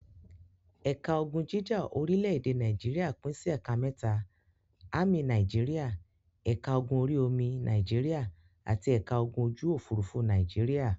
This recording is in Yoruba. Ẹ̀ka ogun jíjà orílẹ̀-èdè Nàìjíríà pín sí ẹ̀ka mẹ́ta; Ámì Nàìjíríà, ẹ̀ka ogun orí-omi Nàìjíríà àti ẹ̀ka ogun ojú-òfurufú Nàìjíríà.